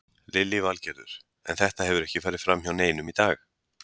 Lillý Valgerður: En þetta hefur ekki farið fram hjá neinum í dag?